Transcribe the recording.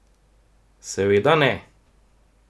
Seveda ne!